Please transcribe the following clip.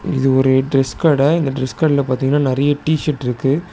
இது ஒரு டிரஸ் கட இந்த டிரஸ் கடைல பாத்தீங்கனா நெறைய டி_ஷர்ட் இருக்கு.